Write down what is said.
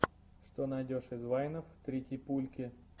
что найдешь из вайнов тритипульки